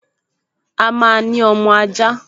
A máa ní ọmọ ajá